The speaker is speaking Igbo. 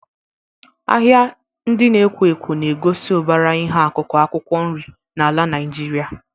Ahịa ndị na-ekwo ekwo na-egosi ụbara ihe akụkụ akwụkwọ nri n'ala Naijiria.